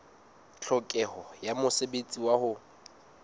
tlhokeho ya mosebetsi wa ho